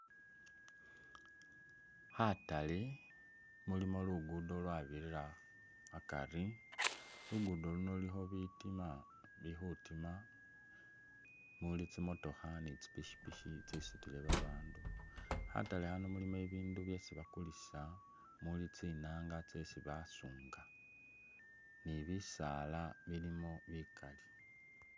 Khatale mulimo lugudo lwabirira akari, lugudo luno lulikho bitima bi khutima, muuli tsimotokha ni tsi pikipiki tsisutile babandu. Khatale khano mulimo bibindu byeesi bakulisa muli tsinaanga tsesi basuunga ni bisaala bilimo bikali.